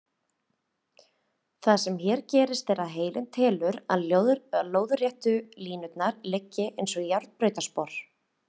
Það sem hér gerist er að heilinn telur að lóðréttu línurnar liggi eins og járnbrautarspor.